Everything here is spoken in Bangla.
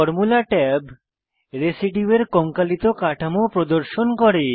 ফরমুলা ট্যাব রেসিডিউয়ের কঙ্কালিত কাঠামো প্রদর্শন করে